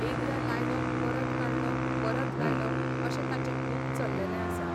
एकदां लायलो परत काडलो परत लायलो अशें ताचें खूब चललेलें आसा.